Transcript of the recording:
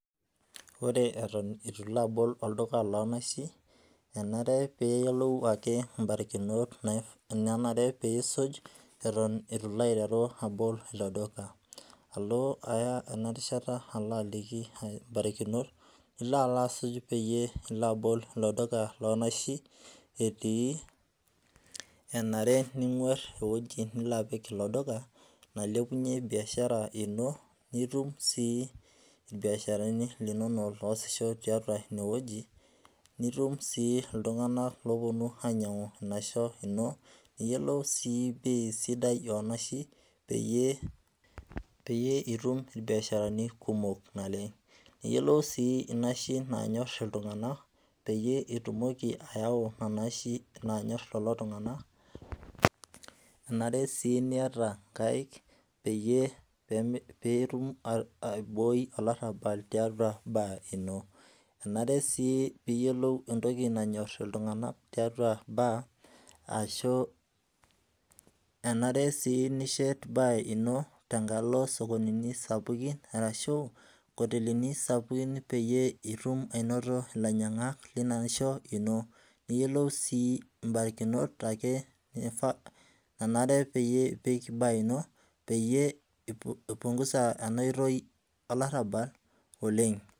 Ore eton eitu ilo abol olduka loonaishi, enare ake niyiolou mbarikinot naanare nisuj eton eitu ilo aiteru abol ilo duka, alo aya ena rishata alo aliki mbarikinot nilo alo asuj pee ilo abol ilo duka loonaishi, enare ning'oru eweji nilo apik ilo duka nailepunyie biashara ino nitum sii irbiasharani linonok oasisho tiatua ine wueji nitum sii iltung'anak oponu ainyangu enaisho ino, niyiolou sii bei onaishi peyie itum irbiasharani kumok naleng ,niyiolou sii naishi nanyor iltunganak peyie itumoki ayau nena aishi nanyor lelo tunganak .enare sii niyata nkaek pee itumoki aibooi olarabal tiatua bar ino ,enare sii niyiolou entoki nanyor iltunganak tiatua bar ashu enare sii nishet bar ino tenkalo sokonini sapukin orashua nkotelini sapukin peyie itum aionoto ilainyangak lina aisho ino, niyiiolou sii mbarikinot nanare peyie epiki bar ino pee eipunguza ena oitoi olarabal oleng'.